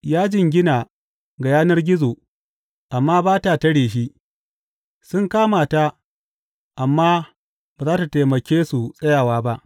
Ya jingina ga yanar gizo, amma ba ta tare shi, sun kama ta, amma ba za tă taimake su tsayawa ba.